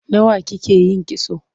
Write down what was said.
Nawa kike yin kitso?